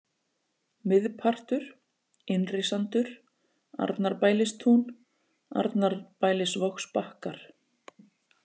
Miðpartur, Innrisandur, Arnarbælistún, Arnarbælisvogsbakkar